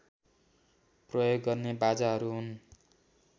प्रयोग गर्ने बाजाहरू हुन्